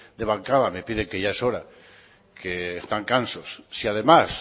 de bancada me piden que ya es hora que están cansos si además